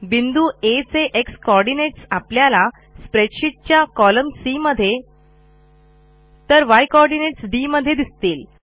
बिंदू आ चे एक्स कोऑर्डिनेट्स आपल्याला स्प्रेडशीट च्या कोलम्न सी मध्ये तर य कोऑर्डिनेट्स डी मध्ये दिसतील